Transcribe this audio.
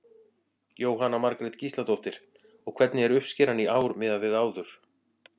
Jóhanna Margrét Gísladóttir: Og hvernig er uppskeran í ár miðað við áður?